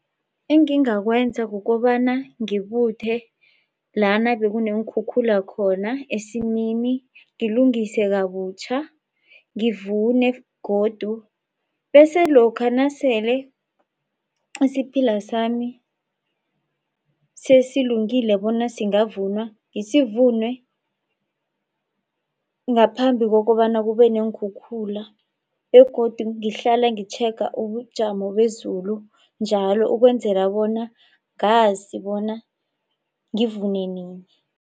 Engingakwenza kukobana ngibuthe lana bekuneenkhukhula khona esimini ngilungise kabutjha ngivune godu, bese lokha nasele isiphila sami sesilungile bona singavunwa ngisivune ngaphambi kokobana kube neenkhukhula begodu ngihlale ngitjhega ubujamo bezulu njalo ukwenzela bona ngazi bona ngivune nini.